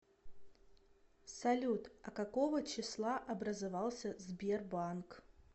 салют а какого числа образовался сбербанк